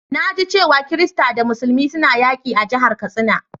Na ji cewa kirista da musulmi suna yaki a'jihar Katsina.